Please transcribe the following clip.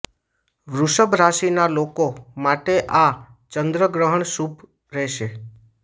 વૃષભ રાશિના લોકો માટે આ ચંદ્રગ્રહણ શુભ રહેશે